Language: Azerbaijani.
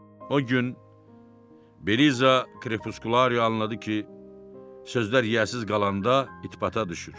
O gün Beliza Krepuskularia anladı ki, sözlər yiyəsiz qalanda itibata düşür.